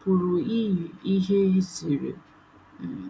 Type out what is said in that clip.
pụrụ iyi ihe ziri. um